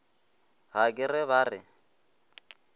ga ke re ba re